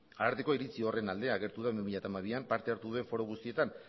ararteko iritzi horren alde agertu da bi mila hamabian parte hartu duen foro guztietan